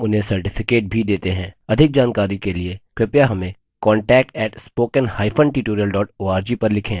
अधिक जानकारी के लिए कृपया हमें contact @spoken hyphen tutorial org पर लिखें